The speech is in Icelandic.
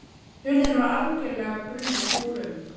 Hurðin var algjörlega brunnin úr um